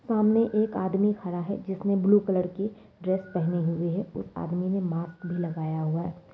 सामने एक आदमी खड़ा है जिसने ब्लू कलर की ड्रेस पहनी हुई है। उस आदमी ने मास्क भी लगाया हुआ है।